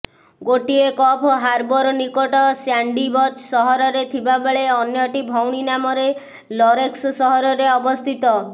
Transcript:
ଗୋଟିଏ Coffs harbour ନିକଟ Sandy Beach ସହରରେ ଥିବାବେଳେ ଅନ୍ୟଟି ଭଉଣୀ ନାମରେ ଲରେନ୍ସ ସହରରେ ଅବସ୍ଥିତ